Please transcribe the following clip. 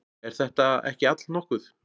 Er þetta ekki allnokkuð?